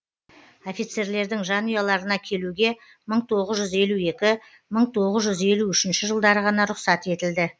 офицерлердің жанұяларына келуге мың тоғыз жүз елу екі мың тоғыз жүз елу үшінші жылдары ғана рұқсат етілді